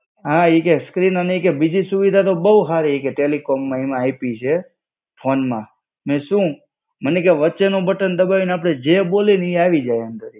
હા ઈ કે સ્ક્રીન ઈ કે બીજી સુવિધા તો બો હારી ઈ કે ટેલિકોમમાં એમાં આઈપી છે. ફોનમાં. મેં સુ? મને કે વચ્ચેનો બટન દબાઈને અપડે જે બોલે ની એ આવી જાય અંદર.